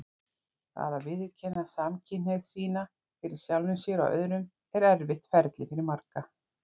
Það að viðurkenna samkynhneigð sína fyrir sjálfum sér og öðrum er erfitt ferli fyrir marga.